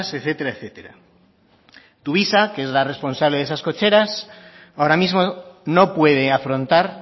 etcétera tuvisa que es la responsable de esas cocheras ahora mismo no puede afrontar